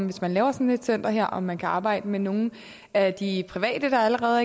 hvis man laver sådan et center her om man kan arbejde med nogle af de private der allerede